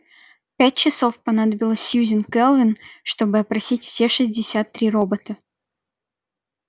пять часов понадобилось сьюзен кэлвин чтобы опросить все шестьдесят три робота